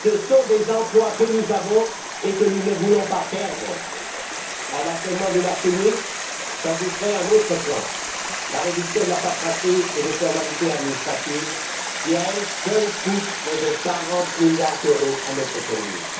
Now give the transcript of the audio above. Ce sont des emplois qui existent et que nous ne voulons pas perdre. À l'achèvement du marché unique, j'ajouterai un autre point la réduction de la paperasserie et des formalités administratives qui, à elle seule, coûte près de quarante milliards d'euros à notre économie.